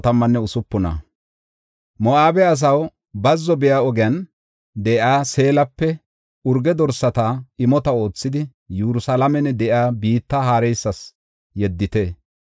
Moo7abe asaw, bazzo biya ogiyan de7iya Seelape urge dorsata imota oothidi, Yerusalaamen de7iya biitta haareysas yeddite.